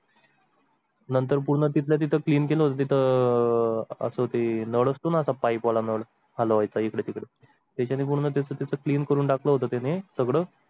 नंतर पूर्ण तिथल्या तिथं clean होते तिथं अह असं ते नल अस्थोना असा पाइपवाला नल हलवायचा इकडे तिकडे त्याने पूर्ण तिथं clean करून टाकलं होतं ते सगळं